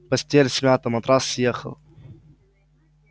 постель смята матрас съехал